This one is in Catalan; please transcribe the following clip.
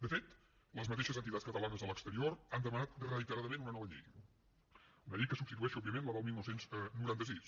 de fet les mateixes entitats catalanes a l’exterior han demanat reiteradament una nova llei una llei que substitueixi òbviament la del dinou noranta sis